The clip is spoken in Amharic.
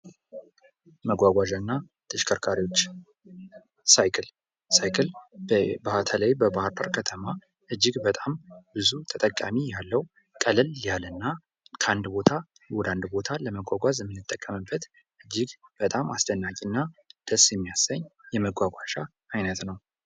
መጓጓዣና ተሽከርካሪዎች ሳይክል፤ ሳይክል በተለይ በባህር ዳር ከተማ እጅግ በጣም ብዙ ተጠቃሚ ያለው ቀለል ያለና ከአንድ ቦታ ወደ አንድ ቦታ ለመጓጓዝ የምንጠቀምበት እጅግ በጣም አስጨናቂና ደስ የሚያሰኝ የመጓጓዣ አይነት ነው ::